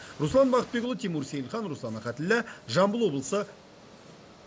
руслан бақытбекұлы тимур сейілхан руслан ахатіллә жамбыл облысы